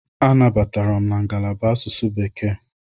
Anabatara m na ngalaba asụsụ Bekee.